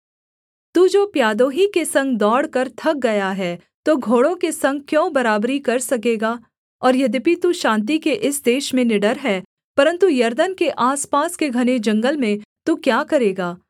तू जो प्यादों ही के संग दौड़कर थक गया है तो घोड़ों के संग क्यों बराबरी कर सकेगा और यद्यपि तू शान्ति के इस देश में निडर है परन्तु यरदन के आसपास के घने जंगल में तू क्या करेगा